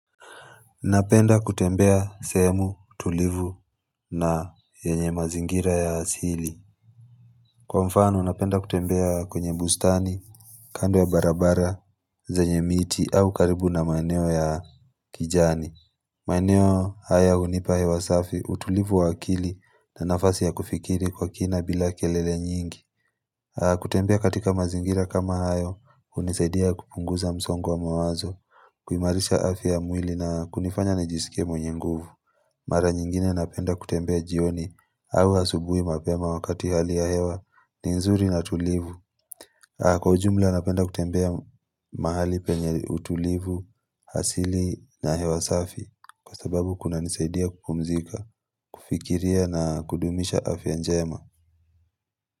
Napenda kutembea sehemu tulivu na yenye mazingira ya asili. Kwa mfano napenda kutembea kwenye bustani, kando ya barabara, zenye miti au karibu na maeneo ya kijani maeneo haya hunipa hewa safi, utulivu wa akili na nafasi ya kufikiri kwa kina bila kelele nyingi kutembea katika mazingira kama hayo, hunisaidia kupunguza msongo wa mawazo, huimarisha afya ya mwili na kunifanya nijisikie mwenye nguvu Mara nyingine napenda kutembea jioni au asubuhi mapema wakati hali ya hewa ni nzuri na tulivu. Kwa ujumla napenda kutembea mahali penye utulivu asili na hewa safi kwa sababu kunanisaidia kupumzika, kufikiria na kudumisha afya njema.